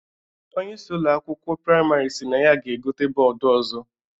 Onyeisi Ụlọ akwụkwọ praịmarị sịrị na ya ga-egote bọọdu ọzọ